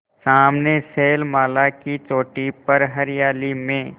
सामने शैलमाला की चोटी पर हरियाली में